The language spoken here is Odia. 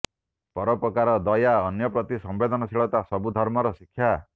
ପରୋପକାର ଦୟା ଅନ୍ୟ ପ୍ରତି ସମ୍ୱେଦନଶୀଳତା ସବୁ ଧର୍ମର ଶିକ୍ଷା